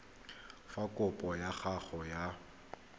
fa kopo ya gago ya